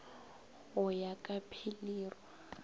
go ya ka pilir o